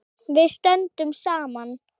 Við stöndum saman!